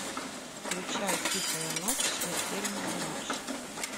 включай тихая ночь смертельная ночь